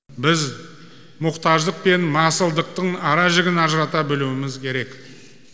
біз мұқтаждық пен масылдықтың аражігін ажырата білуіміз керек